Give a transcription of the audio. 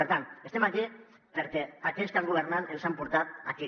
per tant estem aquí perquè aquells que han governat ens han portat aquí